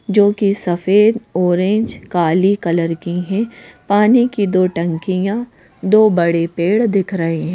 जो कि सफेद ऑरेंज काली कलर की हैं पानी की दो टंकियां दो बड़े पेड़ दिख रहे हैं।